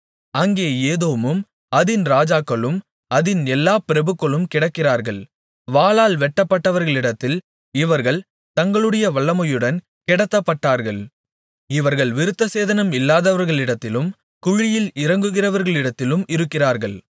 அங்கே ஏதோமும் அதின் ராஜாக்களும் அதின் எல்லாப் பிரபுக்களும் கிடக்கிறார்கள் வாளால் வெட்டப்பட்டவர்களிடத்தில் இவர்கள் தங்களுடைய வல்லமையுடன் கிடத்தப்பட்டார்கள் இவர்கள் விருத்தசேதனம் இல்லாதவர்களிடத்திலும் குழியில் இறங்குகிறவர்களிடத்திலும் இருக்கிறார்கள்